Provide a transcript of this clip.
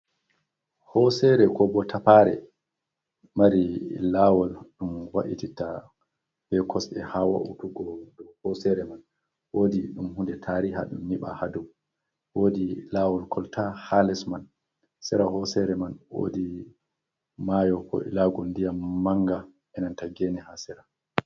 Hosere ko bo tapare mari lawol ɗum wa’ititta be kosɗe ha wa'utugo dou hosere man wodi ɗum hude tariha ɗum yiɓa ha dou wodi lawol kolta ha les man sera hosere man wodi mayo ko ilago ndiyan manga enan ta gene ha sera.